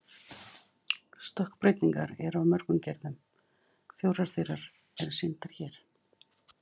Stökkbreytingar eru af nokkrum gerðum, fjórar þeirra eru sýndar hér.